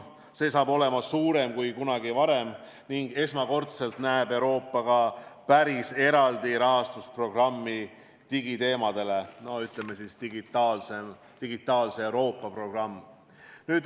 See on suurem kui kunagi varem ning esmakordselt näeb Euroopa ka päris eraldi rahastusprogrammi digiteemadel, ütleme, digitaalse Euroopa programmi.